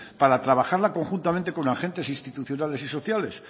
para trabajarla conjuntamente con agentes institucionales y sociales